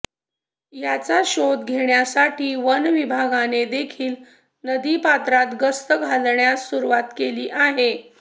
याचा शोध घेण्यासाठी वन विभागाने देखील नदीपात्रात गस्त घालण्यास सुरुवात केली आहे